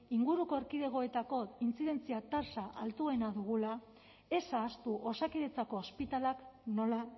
inguruko erkidegoetako intzidentzia tasa altuenak dugula ez ahaztu osakidetzako ospitaleak nola